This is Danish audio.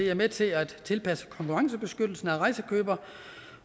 er med til at tilpasse konkurrencebeskyttelsen af rejsekøbere